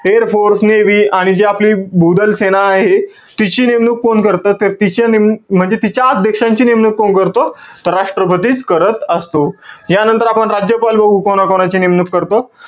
Airforce, navy आणि जी आपले भूदल सेना आहे. तिची नेमणूक कोण करतं? तर तिची नेमणूक, म्हणजे तिच्या अध्यक्षांची नेमणूक कोण करतो? तर राष्ट्र्पतीच करत असतो. यानंतर आपण, राज्यपाल बघू कोणाची नेमणूक करतो.